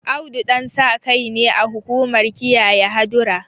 Audu Ɗansakai ne a hukumar kiyaye hadura